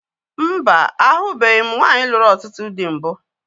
Mba, ahụbeghi m nwaanyị lụrụ ọtụtụ dị mbụ